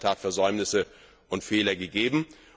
Da hat es in der Tat Versäumnisse und Fehler gegeben.